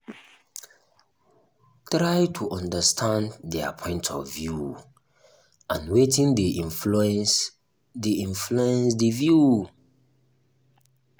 try to understand their point of view and wetin dey influence di influence di view